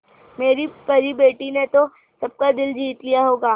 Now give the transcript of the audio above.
मेरी परी बेटी ने तो सबका दिल जीत लिया होगा